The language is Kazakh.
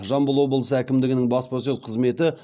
жамбыл облысы әкімдігінің баспасөз қызметі